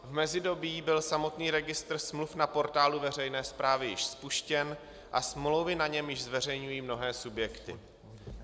V mezidobí byl samotný registr smluv na portálu veřejné správy již spuštěn a smlouvy na něm již zveřejňují mnohé subjekty.